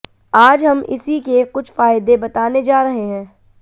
आज हम इसी के कुछ फायदे बताने जा रहे हैं